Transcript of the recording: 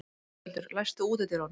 Íseldur, læstu útidyrunum.